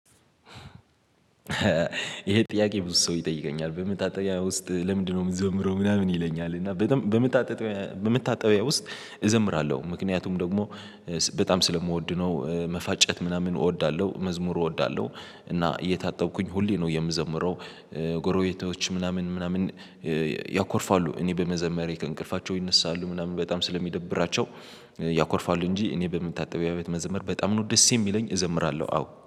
ይሄ ጥያቄ ብዙ ሰው ይጠይቀኛል በመታጠብያ ውስጥ ለምንድነው? እምዘምረው ምናምን ይለኛል እና በጣም በምታጠቢው በመታጠቢያ ውስጥ እዘምራለሁ ምክንያቱም ደግሞ በጣም ስለምወድ ነው መፋጨት ምናምን እወዳለሁ። መዝሙሩ እወዳለሁ እና እየታጠብኩኝ ሁሌ ነው የምዘምረው። ጎረቤቶች ምናምን ምናምን ያኮርፋሉ እኔ በመዘመሬ ከእንቅልፋቸው ይነሳሉ ምናምን በጣም ስለሚደብራቸው። እንጂ እኔ በመታጣበያ ቤት መዘመር በጣም ነው ደስ የሚለኝ እዘምራለሁ። አዎ